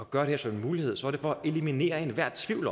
gøre det som en mulighed er det for at eliminere enhver tvivl